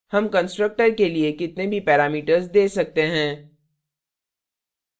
हम constructor के लिए कितने भी parameters we सकते हैं